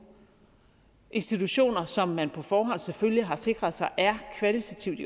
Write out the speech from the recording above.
institutioner som man på forhånd selvfølgelig har sikret sig kvalitativt